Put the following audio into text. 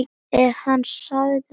Er hann sagður hafa særst.